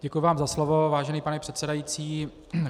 Děkuji vám za slovo, vážený pane předsedající.